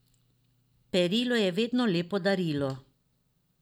Perilo je vedno lepo darilo.